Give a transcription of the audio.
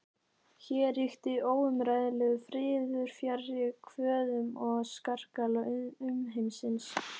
Hér ríkti óumræðilegur friður fjarri kvöðum og skarkala umheimsins.